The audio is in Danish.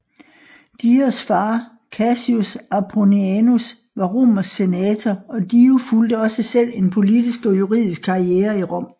Dios far Cassius Apronianus var romersk senator og Dio fulgte også selv en politisk og juridisk karriere i Rom